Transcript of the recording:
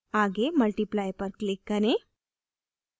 आगे multiply पर click करें